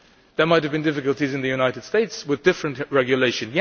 Yes, there might have been difficulties in the United States with different regulation